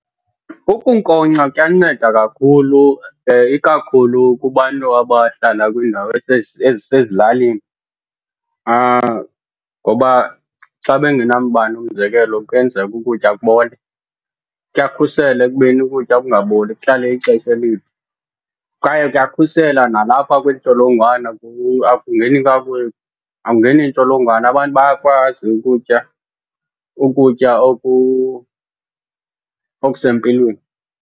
Ukunkonkxa kuyanceda kakhulu, ikakhulu kubantu abahlala kwiindawo ezisezilalini. Ngoba xa bengenamandla umzekelo kuyenzeka ukutya kubole, kuyakhusela ekubeni ukutya kungaboli kuhlale ixesha elide. Kwaye kuyakhusela nalapha kwiintsholongwane, akungeni akungeni ntsholongwane abantu bayakwazi ukutya ukutya okusempilweni.